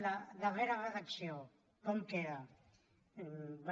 la darrera redacció com queda bé